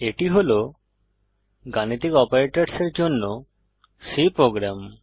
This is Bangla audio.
এটি হল গাণিতিক অপারেটরের জন্য C প্রোগ্রাম